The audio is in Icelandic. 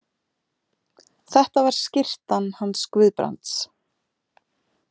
Þetta var skyrtan hans Guðbrands.